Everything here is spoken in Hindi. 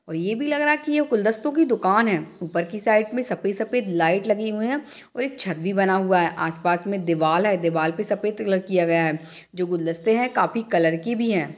ये भी लग रहा है कि यह गुलदस्तों की दुकान है ऊपर की साइड में सफेद-सफेद लाइट लगी हुई है और एक छत भी बना हुआ है । आसपास में दीवाल है दीवाल पे सफेद कलर किया गया है जो गुलदस्ते है काफी कलर के भी है ।